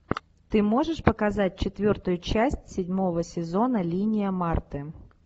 ты можешь показать четвертую часть седьмого сезона линия марты